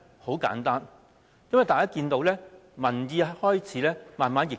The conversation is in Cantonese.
很簡單，因為大家看到民意已開始慢慢逆轉。